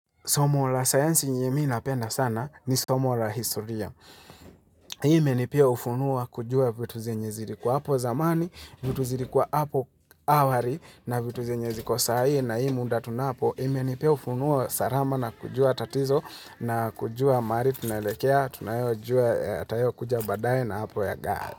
Somo la sayansi yenye mii napenda sana ni somo la historia. Imeni pia ufunuo wa kujua vitu zenye zilikuwa hapo zamani, vitu zilikuwa hapo awari na vitu zenye ziko sai na hii muda tunapo. Imenipea ufunuo sarama na kujua tatizo na kujua mari tunelekea, tunayo jua atayo kuja badaye na hapo ya gaa.